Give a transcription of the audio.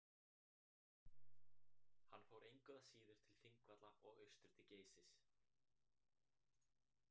Hann fór engu að síður til Þingvalla og austur til Geysis.